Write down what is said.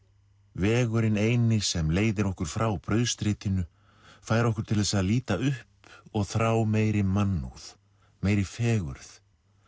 vegurinn eini sem leiðir okkur frá brauðstritinu fær okkur til þess að líta upp og þrá meiri mannúð meiri fegurð